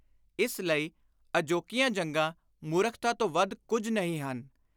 ਇਸ ਲਈ ਅਜੋਕੀਆਂ ਜੰਗਾਂ ਮੂਰਖਤਾ ਤੋਂ ਵੱਧ ਕੁਝ ਨਹੀਂ ਹਨ।